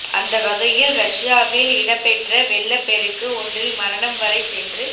அந்த வகையில் ரஷ்யாவில் இடம்பெற்ற வெள்ளப்பெருக்கு ஒன்றில் மரணம் வரை சென்று